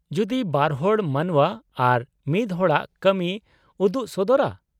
ᱡᱩᱫᱤ ᱵᱟᱨᱦᱚᱲ ᱢᱟᱱᱣᱟ ᱟᱨ ᱢᱤᱫ ᱦᱚᱲᱟᱜ ᱠᱟᱹᱢᱤᱭ ᱩᱫᱩᱜ ᱥᱚᱫᱚᱨᱟ ?